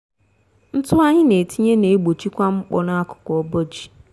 ntụ anyị n'etinye n'egbochikwa mkpọ n'akụkụ obo ji.